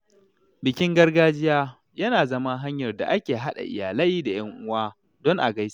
Bikin gargajiya yana zama hanyar da ake haɗa iyalai da ‘yan uwa don a gaisa.